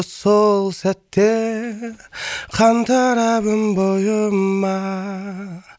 сол сәтте қан тарап өн бойыма